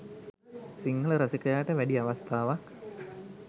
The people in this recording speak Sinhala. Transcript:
සිංහල රසිකයාට වැඩි අවස්ථාවක්